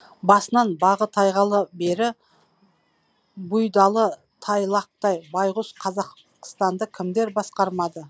басынан бағы тайғалы бері бұйдалы тайлақтай байғұс қазақстанды кімдер басқармады